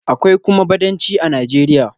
Akwai kuma Badanci a Nijeriya.